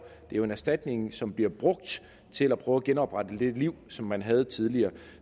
det er en erstatning som bliver brugt til at prøve at genoprette det liv som man havde tidligere